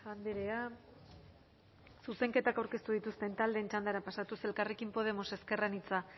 andrea zuzenketak aurkeztu dituzten taldeen txandara pasatuz elkarrekin podemos ezker anitza